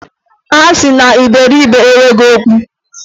A sị na iberibe enweghi ọgwụ.